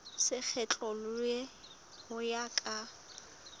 se kgethollwe ho ya ka